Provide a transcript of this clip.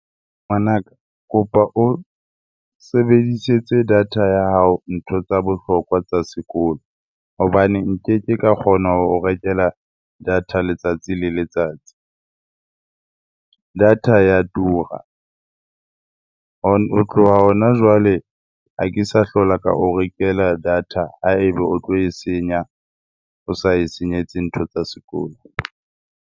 Ngwanaka, kopa o sebedisetse data ya hao ntho tsa bohlokwa tsa sekolo hobane nkeke ka kgona ho rekela data letsatsi le letsatsi. Data ya tura. Ho tloha hona jwale ha ke sa hlola ka o rekela data ha eba o tlo e senya, o sa e senyetse ntho tsa sekolo.